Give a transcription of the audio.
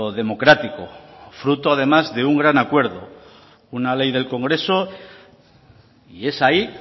democrático fruto además de un gran acuerdo una ley del congreso y es ahí